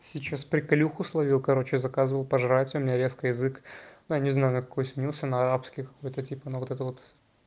сейчас приколюху словил короче заказывал пожрать у меня резко язык но я не знаю какой сменился на арабский какой-то типа ну вот это вот